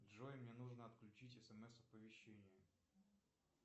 джой мне нужно отключить смс оповещение